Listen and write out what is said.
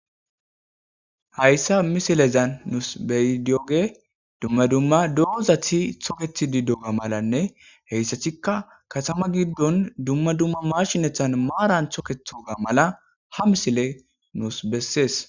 hayssa misilezan nuus bey dioge dumma dumma doozathi tokethi di dooga malanne heyssathikka kasama giddon dumma dumma mashinethan maaran thookethoga mala ha misile nuus bessees